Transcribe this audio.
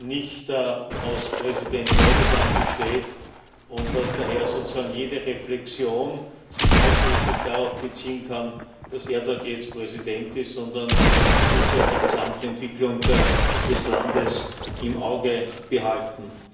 nicht aus Präsident Erdoğan besteht und dass daher sozusagen jede Reflexion sich nicht ausschließlich darauf beziehen kann, dass er dort jetzt Präsident ist, sondern man muss die Gesamtentwicklung des Landes im Auge behalten.